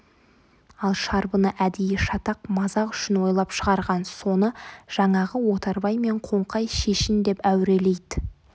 ал шарбыны әдейі шатақ мазақ үшін ойлап шығарған соны жаңағы отарбай мен қоңқай шешін деп әурелейді